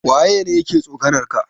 Waya ne yake tsokanar ka?